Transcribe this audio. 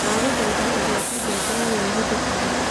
Ndagũthaĩtha ũgwete ngengere ĩrĩa ĩhũthĩkaga